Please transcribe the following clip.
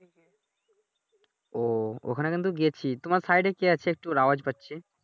ও ওইখানে কিন্তু গেছি তোমার সাইডে কে আছে একটু আওয়াজ পাচ্ছি।